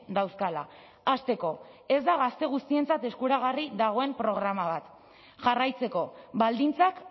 dauzkala hasteko ez da gazte guztientzat eskuragarri dagoen programa bat jarraitzeko baldintzak